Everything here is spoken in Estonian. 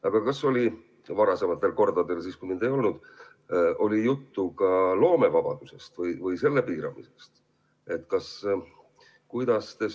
Aga kas oli varasematel kordadel, siis, kui mind kohal ei olnud, juttu ka loomevabadusest või selle piiramisest?